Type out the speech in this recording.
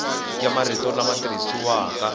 ya marito lama tirhisiwaka ya